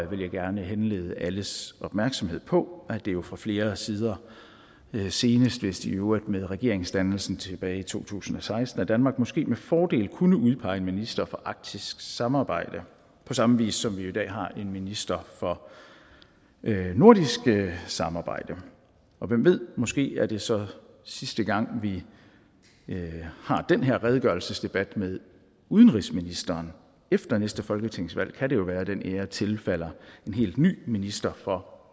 vil jeg gerne henlede alles opmærksomhed på at det jo fra flere sider senest vist i øvrigt med regeringsdannelsen tilbage i to tusind og seksten at danmark måske med fordel kunne udpege en minister for arktisk samarbejde på samme vis som vi jo i dag har en minister for nordisk samarbejde og hvem ved måske er det så sidste gang vi har den her redegørelsesdebat med udenrigsministeren efter næste folketingsvalg kan det jo være at den ære tilfalder en helt ny minister for